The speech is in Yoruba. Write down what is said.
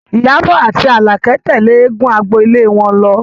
Ìyábọ̀ àti Àlàkẹ́ tẹ̀lé eégún agbolé wọn lọ